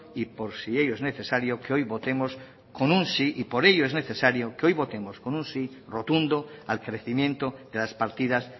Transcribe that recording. y por si ello es necesario que hoy votemos con un sí y por ello es necesario que hoy votemos con un sí rotundo al crecimiento de las partidas